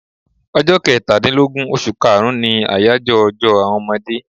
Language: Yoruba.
Ọjọ́ Kẹtàdínlógún oṣù kaàrún ni àyájọ́ ọjọ́ àwọn ọmọdé